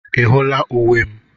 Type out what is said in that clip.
Ị hụla uwe m?